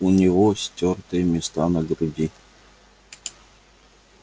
у него стёртые места на груди